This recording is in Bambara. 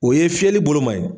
O ye fiyɛli boloma ye.